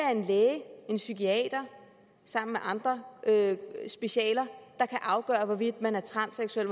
er en læge en psykiater sammen med andre specialer der kan afgøre hvorvidt man er transseksuel